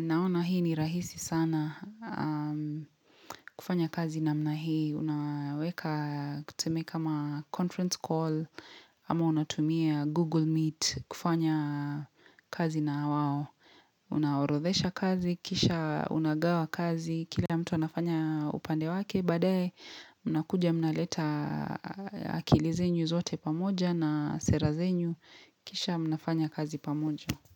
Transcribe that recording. Naona hii ni rahisi sana. Kufanya kazi namna hii unaweka teseme kama conference call ama unatumia Google Meet kufanya kazi na wao. Unaorodhesha kazi, kisha unagawa kazi Kila mtu anafanya upande wake baadae, mnakuja mnaleta akili zenyu zote pamoja na sera zenyu, kisha mnafanya kazi pamoja.